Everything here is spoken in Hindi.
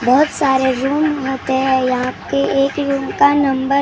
बहत सारे रूम होते हैं यहाँ पे एक रूम का नंबर ।